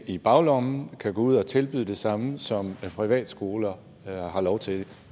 i baglommen kan gå ud at tilbyde det samme som privatskoler har lov til